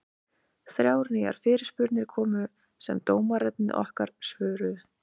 Þrjár nýjar fyrirspurnir komu sem dómararnir okkar svöruðu.